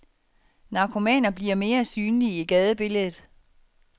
Narkomaner bliver mere synlige i gadebilledet.